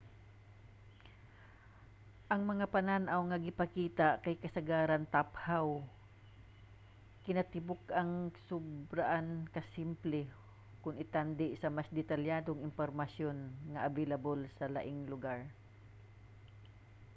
ang mga panan-aw nga ginapakita kay kasagaran taphaw kinatibuk-an ug sobraan ka simple kung itandi sa mas detalyadong impormasyon nga available sa laing lugar